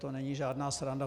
To není žádná sranda.